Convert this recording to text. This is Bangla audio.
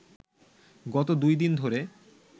গত দুই দিন ধরে